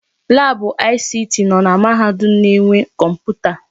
Laabụ ICT nọ na mahadum na-enwe kọmputa.